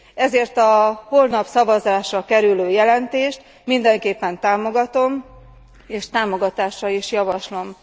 Ezért a holnap szavazásra kerülő jelentést mindenképpen támogatom, és támogatásra is javaslom.